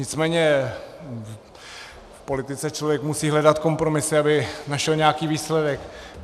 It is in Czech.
Nicméně v politice člověk musí hledat kompromisy, aby našel nějaký výsledek.